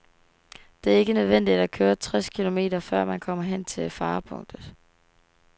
Det er ikke nødvendigt at køre tres kilometer, før man kommer hen til farepunktet.